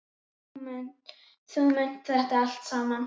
Þú mundir þetta allt saman.